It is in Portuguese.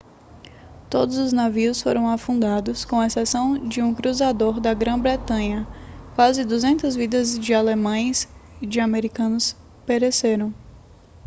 todos os navios foram afundados com exceção de um cruzador da grã-bretanha quase 200 vidas de alemães e de americanos pereceram